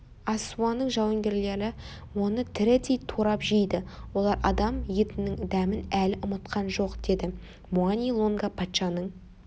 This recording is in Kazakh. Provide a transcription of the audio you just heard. ассуаның жауынгерлері оны тірідей турап жейді олар адам етінің дәмін әлі ұмытқан жоқ деді муани-лунга патшаның